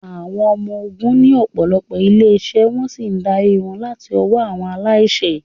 Àwọn Ọmọ Ogun ní ọ̀pọ̀lọpọ̀ ilé-iṣẹ́ wọ́n sì ń darí wọn láti ọwọ́ àwọn aláṣẹ.